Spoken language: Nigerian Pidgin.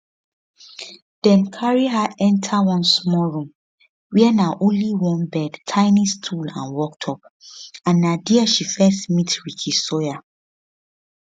dem carry her enta one small room wia na only one bed tiny stool and worktop and na dia she first meet ricky sawyer